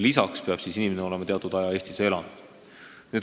Lisaks peab inimene olema teatud aja Eestis elanud.